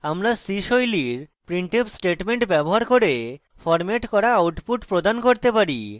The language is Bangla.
আমরা c style printf statement ব্যবহার করে ফরম্যাট করা output প্রদান করতে পারি